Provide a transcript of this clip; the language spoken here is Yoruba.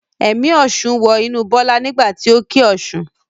Ẹ̀mí ọ̀ṣun wọ inú Bọ́lá nígbà tí o kí Ọ̀ṣun.